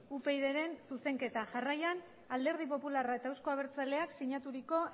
upydren zuzenketa jarraian alderdi popularra eta euzko abertzaleak sinaturiko